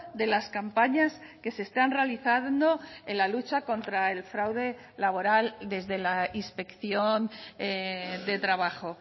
de las campañas que se están realizando en la lucha contra el fraude laboral desde la inspección de trabajo